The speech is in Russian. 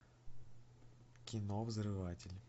кино взрыватель